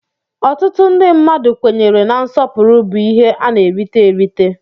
Ọtụtụ ndị mmadụ kwenyere na nsọpụrụ bụ ihe a na-erita erita.